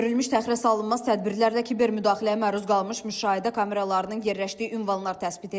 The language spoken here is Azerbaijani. Görülmüş təxirəsalınmaz tədbirlərlə kiber müdaxiləyə məruz qalmış müşahidə kameralarının yerləşdiyi ünvanlar təsbit edilib.